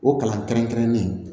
O kalan kɛrɛnkɛrɛnnen